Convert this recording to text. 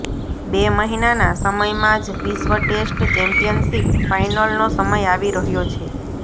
બે મહિનાના સમયમાં જ વિશ્વ ટેસ્ટ ચેમ્પિયનશીપ ફાઈનલનો સમય આવી રહ્યો છે